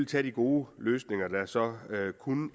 tage de gode løsninger der så